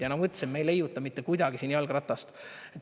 Ja nagu ma ütlesin, me ei leiuta mitte kuidagi siin jalgratast.